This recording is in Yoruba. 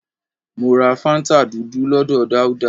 Mọ ra fáńtà tútù lọ́dọ̀ Dauda